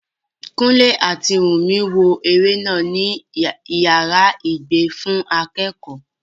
Kúnlé àti Wùnmí wo eré náà ní yàrá ìgbé fún akẹ́kọ̀ọ́